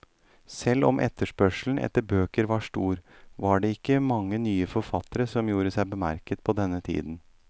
Selv om etterspørselen etter bøker var stor, var det ikke mange nye forfattere som gjorde seg bemerket på denne tiden.